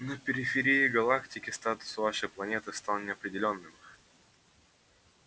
на периферии галактики статус вашей планеты стал неопределённым